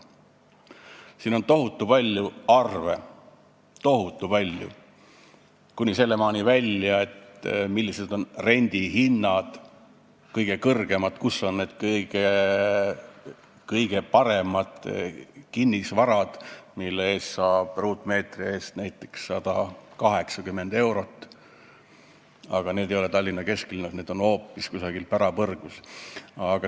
Siin on tohutu palju arve – tohutu palju, kuni sinnamaani välja, millised on kõige kõrgemad rendihinnad, kus on need kõige paremad kinnisvarad, mille puhul saab ruutmeetri eest näiteks 180 eurot, aga need ei ole Tallinna kesklinnas, need on hoopis kusagil pärapõrgus.